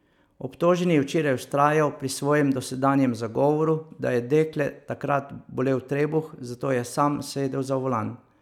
Obtoženi je včeraj vztrajal pri svojem dosedanjem zagovoru, da je dekle takrat bolel trebuh, zato je sam sedel za volan.